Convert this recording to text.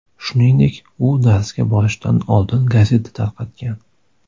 Shuningdek, u darsga borishdan oldin gazeta tarqatgan.